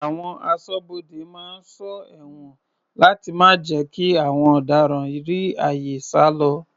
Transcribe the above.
Àwọn aṣọ́bodè máa ń sọ ẹ̀wọ̀n láti má jẹ́ kí àwọn ọ̀daràn rí àyè sálọ.